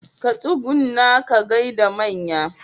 Ka tsugunna ka gaida manya.